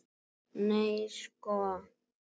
Nei sko!